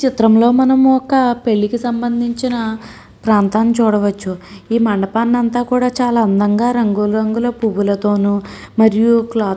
ఈ చిత్రం లో మనం ఒక పెళ్ళికి సంబంధించిన ప్రాంతాన్ని చూడవచ్చు. ఈ మండపాన్ని అంతా కూడ చాల అందంగా రంగు రంగుల పువ్వులతోను మరియు క్లోత్ --